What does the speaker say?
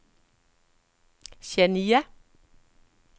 Chania